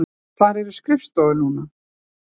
Þar eru skrifstofur núna.